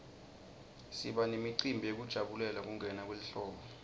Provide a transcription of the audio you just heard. siba nemicimbi yekujabulela kungena kwelihlobo